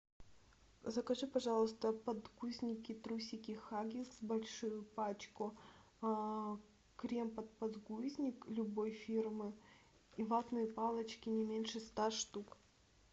закажи пожалуйста подгузники трусики хаггис большую пачку крем под подгузник любой фирмы и ватные палочки не меньше ста штук